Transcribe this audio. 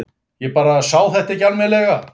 Ég bara sá þetta ekki almennilega.